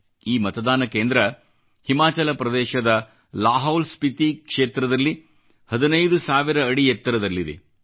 ಈ ಮತದಾನ ಕೇಂದ್ರ ಹಿಮಾಚಲ ಪ್ರದೇಶದ ಲಾಹೌಲ್ ಸ್ಫಿತಿ ಕ್ಷೇತ್ರದಲ್ಲಿ 15000 ಅಡಿ ಎತ್ತರದಲ್ಲಿದೆ